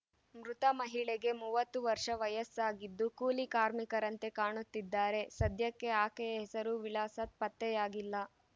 ಮೃತ ಮಹಿಳೆಗೆ ಮೂವತ್ತು ವರ್ಷ ವಯಸ್ಸಾಗಿದ್ದು ಕೂಲಿ ಕಾರ್ಮಿಕರಂತೆ ಕಾಣುತ್ತಿದ್ದಾರೆ ಸದ್ಯಕ್ಕೆ ಆಕೆಯ ಹೆಸರು ವಿಳಾಸ ಪತ್ತೆಯಾಗಿಲ್ಲ